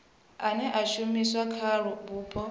ane a shumiswa kha vhupo